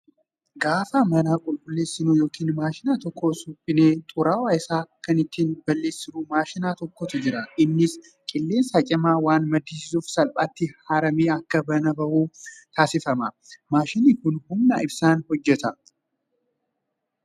Gaafa mana qulqulleessinu yookaan maashina tokko suphinee xuraawaa isaa kan ittiin balleessinu maashina tokkotu jira. Innis qilleensa cimaa waan maddisiisuuf salphaatti haramee akka manaa bahu taasifama. Maashinni kun humna ibsaan hojjata.